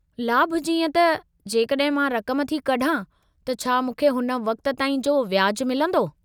लाभु जीअं त, जेकड॒हिं मां रक़म थी कढां त छा मूंखे हुन वक़्तु ताईं जो व्याजु मिलंदो?